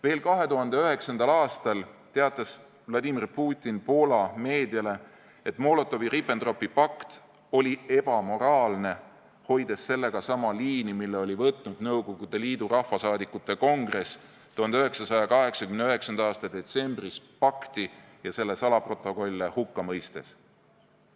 Veel 2009. aastal teatas Vladimir Putin Poola meediale, et Molotovi-Ribbentropi pakt oli ebamoraalne, hoides sellega sama liini, mille oli võtnud Nõukogude Liidu Rahvasaadikute Kongress 1989. aasta detsembris pakti ja selle salaprotokolle hukka mõistes.